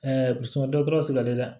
dɔtɔrɔ sigilen don dɛ